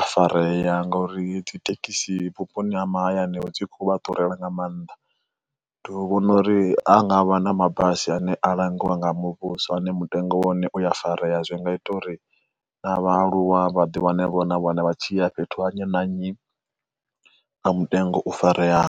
a farea ngauri dzi thekhisi vhuponi ha mahayani vho dzi khou vha ḓurela nga maanḓa. Ndi u vhona uri ha ngavha na mabasi ane a langiwa nga muvhuso ane mutengo wane uya farea zwi nga ita uri na vhaaluwa vhaḓi wane vho na vhana vha tshi ya fhethu ha nnyi na nnyi nga mutengo u fareaho.